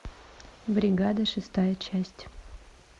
бригада шестая часть